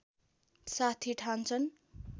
साथी ठान्छन्